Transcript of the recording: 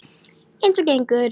Eins og gengur.